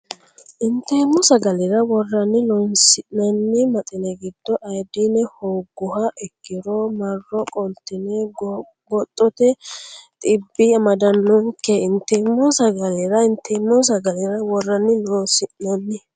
Inteemmo sagalera worranni Loossinanni maxine giddo ayoodine hoogguha ikkiro marro qoltine goggoxxote dhibbi amadannonke Inteemmo sagalera Inteemmo sagalera worranni Loossinanni.